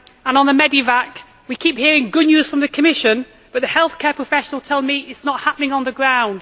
On medevac, we keep hearing good news from the Commission, but healthcare professionals tell me that it is not happening on the ground.